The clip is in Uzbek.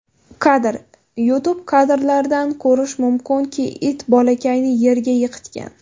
Kadr: YouTube Kadrlardan ko‘rish mumkinki, it bolakayni yerga yiqitgan.